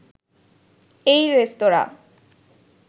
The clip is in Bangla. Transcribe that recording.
এই রেস্তোঁরা